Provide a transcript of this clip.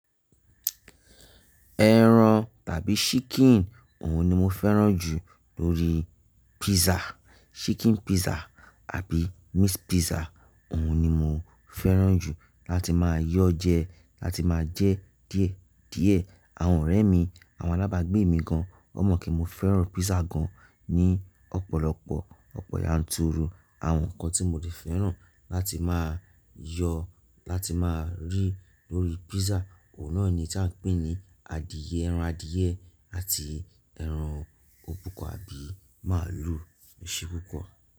Ẹran tàbí chicken òun ni mo fẹ́ràn jù lórí pizza. Chicken pizza àbí meat pizza òun ni mo fẹ́ràn jù láti máa yọ jẹ, láti máa jẹ díẹ̀ díẹ̀. Àwọn ọ̀rẹ́ mi, àwọn alábàágbé mi gan, ó mọ̀ pé mo fẹ́ràn pizza gan ní ọ̀pọ̀lọpọ̀ ọ̀pọ̀ yanturu. Àwọn nǹkan tí mo dè fẹ́ràn láti máa yọ láti máa rí lórí pizza, ọ̀unà ni tí à ń pè ní adìẹ ẹran adìẹ àti ẹran òbúkọ àbí màálù, ó ṣe púpọ̀